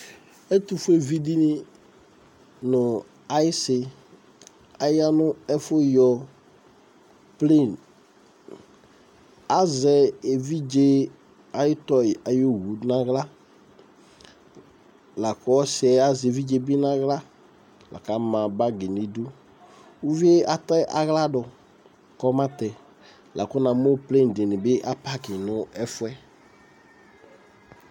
Ɛtʋfuevi dɩnɩ nʋ ayɩsɩ aya nʋ ɛfʋyɔ plen Azɛ evidze ayʋ tɔyɩ ayʋ owu nʋ aɣla la kʋ ɔsɩ yɛ azɛ evidze bɩ nʋ aɣla la kʋ ama bagɩ nʋ idu Uvi yɛ atɛ aɣla dʋ, kɔmatɛ la kʋ namʋ plen dɩnɩ bɩ apakɩ nʋ ɛfʋ yɛ